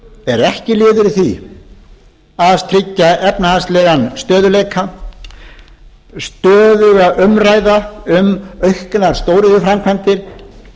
eru ekki liður í því að tryggja efnahagslegan stöðugleika stöðug umræða um auknar stóriðjuframkvæmdir